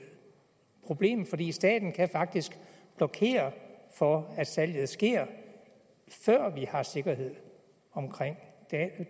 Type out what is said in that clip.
problem fordi staten faktisk kan blokere for at salget sker før vi har sikkerhed omkring